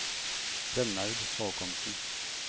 Rønnaug Håkonsen